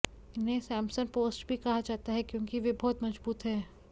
इन्हें Samson post भी कहा जाता है क्योंकि वे बहुत मजबूत हैं